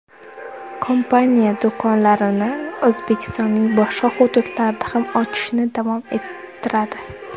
Kompaniya do‘konlarini O‘zbekistonning boshqa hududlarida ham ochishni davom ettiradi.